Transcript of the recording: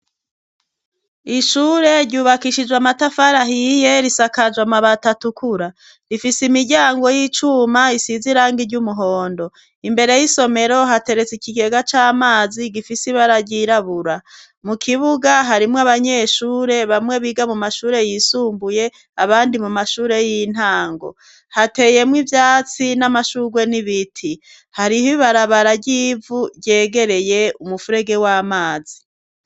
Ishure ryubakishijwe amatafari ahiye risakajwe amabati atukura. Rifise imiryango y'icuma isize irangi ry'umuhondo. Imbere y'isomero hateretse ikikega c'amazi gifise ibara ryirabura. Mu kibuga harimwo abanyeshure bamwe biga mu mashure yisumbuye abandi mu mashure y'intango. Hateyemwo ivyatsi n'amashurwe n'ibiti. Hari ibarabara ry'ivu ryegereye umufurege w'amazi.